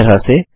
इसी तरह से